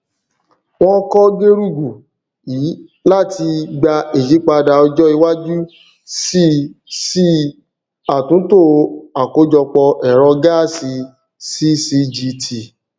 wọn kọ gerugu ii láti gba ìyípadà ọjọ iwájú sí sí àtúntò àkójọpọ ẹrọ gáàsì ccgt